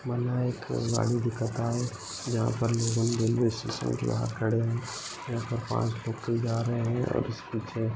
मला एक गाड़ी दिखत आहे. जहापर लोगन रेल्वे स्टेशन के यहा खडे है यहापर पाच लोकल जा रहे है और उसके पीछे --